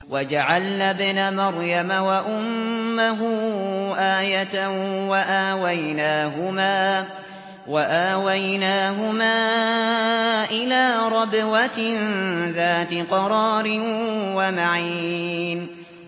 وَجَعَلْنَا ابْنَ مَرْيَمَ وَأُمَّهُ آيَةً وَآوَيْنَاهُمَا إِلَىٰ رَبْوَةٍ ذَاتِ قَرَارٍ وَمَعِينٍ